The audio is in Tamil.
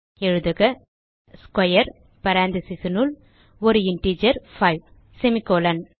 எழுதுக ஸ்க்வேர் பேரெந்தீசஸ் னுள் ஒரு இன்டிஜர் 5 செமிகோலன்